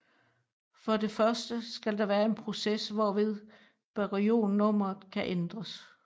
For det første skal der være en proces hvorved baryonnummeret kan ændres